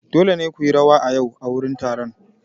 Dole ne ku yi rawa a yau a wurin taron!